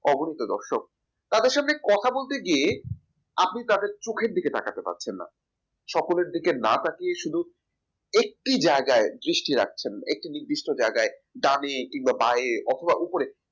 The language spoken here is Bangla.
অগণিত দর্শক তাদের সামনে কথা বলতে গিয়ে আপনার তাদের চোখের দিকে তাকাতে পারছেন না সকলের দিকে না তাকিয়ে শুধু একটি জায়গায় দৃষ্টি রাখছেন একটি নির্দিষ্ট জায়গায় ডানে কিংবা বায়ে অথবা উপরের দিকে